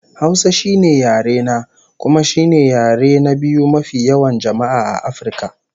Hausa shine yare na, kuma shine yare na biyu mafi yawan jama'a a Afirka